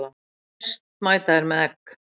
Næst mæta þeir með egg.